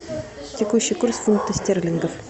текущий курс фунтов стерлингов